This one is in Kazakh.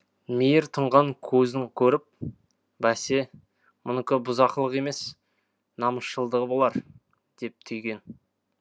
мейір тұнған көзін көріп бәсе мұныкі бұзақылық емес намысшылдығы болар деп түйген